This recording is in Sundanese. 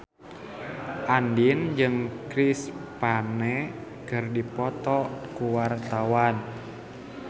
Andien jeung Chris Pane keur dipoto ku wartawan